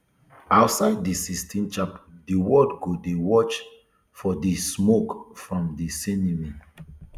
outside di sistine chapel di world go dey watch for di smoke from di chimney